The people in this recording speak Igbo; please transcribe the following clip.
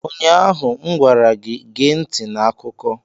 Ụnyaahụ m gwara gị, gee ntị n'akụkọ!